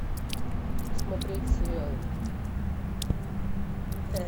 смотреть сериал